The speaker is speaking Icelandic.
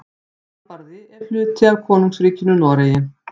Svalbarði er hluti af Konungsríkinu Noregi.